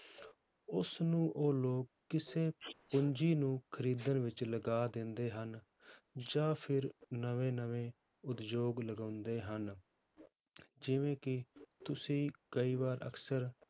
ਉਸਨੂੰ ਉਹ ਲੋਕ ਕਿਸੇ ਪੂੰਜੀ ਨੂੰ ਖ਼ਰੀਦਣ ਵਿੱਚ ਲਗਾ ਦਿੰਦੇ ਹਨ, ਜਾਂ ਫਿਰ ਨਵੇਂ ਨਵੇਂ ਉਦਯੋਗ ਲਗਾਉਂਦੇ ਹਨ, ਜਿਵੇਂ ਕਿ ਤੁਸੀਂ ਕਈ ਵਾਰ ਅਕਸਰ